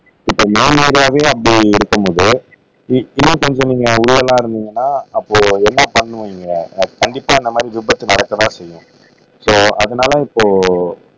இப்ப நார்மலாவே அப்படி இருக்கும் போது அப்படி எல்லாம் இருந்தீங்கன்னா அப்போ என்ன பண்ணுவீங்க கண்டிப்பா அந்தமாதிரி விபத்து நடக்கத்தான் செயும் சோ அதனால இப்போ